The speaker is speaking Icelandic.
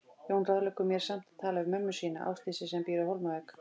Jón ráðleggur mér samt að tala við mömmu sína, Ásdísi, sem býr á Hólmavík.